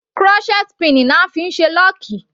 Crochet pin ni a fí ń ṣe lọ́ọ̀kì.